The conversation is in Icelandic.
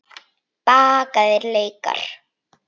Bakaðir laukar